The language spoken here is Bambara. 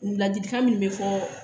Ladilikan min bɛ fɔ